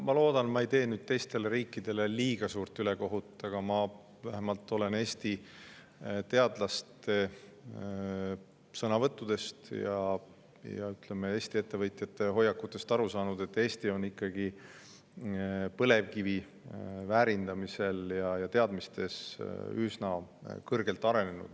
Ma loodan, et ma ei tee teistele riikidele liiga suurt ülekohut, aga ma olen Eesti teadlaste sõnavõttudest ja Eesti ettevõtjate hoiakutest aru saanud, et Eesti on ikkagi põlevkivi väärindamisel ja nendes teadmistes üsna kõrgelt arenenud.